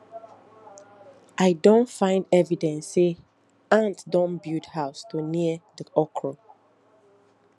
i don find evidence say ant don build house for near the okra